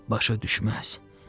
Başa düşməz.